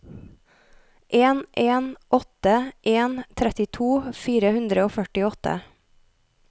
en en åtte en trettito fire hundre og førtiåtte